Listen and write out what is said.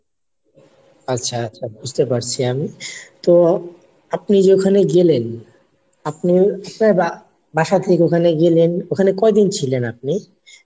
আচ্ছা আচ্ছা বুঝতে পারছি আমি তো আপনি যে ঐখানে গেলেন আপনি আপনার বাসা থেকে মানে গেলেন ঐখানে কয়দিন ছিলেন আপনি ?